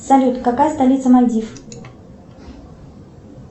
салют какая столица мальдив